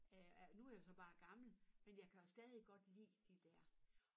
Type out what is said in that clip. Øh er nu er jeg jo så bare gammel men jeg kan jo stadig godt lide de dér